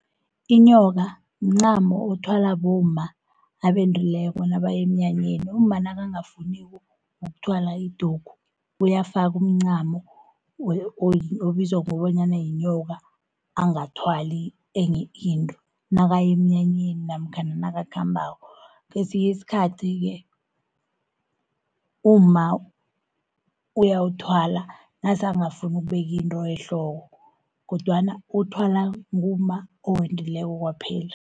Inyoka mncamo othwala bomma abendrileko nabayemnyanyeni, umma nakangafuniko ukuthwala idugu. Uyafaku umncamo obizwa bonyana yinyoka, angathwali enye into, nakayemnyanyeni namkhana nakakhambako. Kesinyi isikhathi-ke umma uyawuthwala nasa angafuni ukubekinto ehloko, kodwana uwuthwala ngumma owendileko kwaphela.